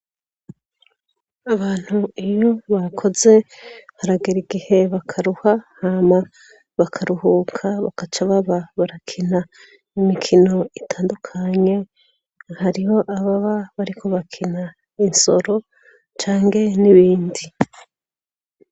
Abantu iyo bakoze haragera igihe bakaruha, hama bakaruhuka bagaca baba barakina imikino itandukanye. Hariho ababa bariko bakina insoro cange n'ibindi.